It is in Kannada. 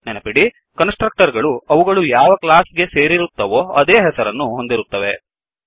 ನೆನಪಿಡಿ ಕನ್ಸ್ ಟ್ರಕ್ಟರ್ ಗಳು ಅವುಗಳು ಯಾವ ಕ್ಲಾಸ್ ಗೇ ಸೇರಿರುತ್ತವೋ ಅದೇ ಹೆಸರನ್ನು ಹೊಂದಿರುತ್ತವೆ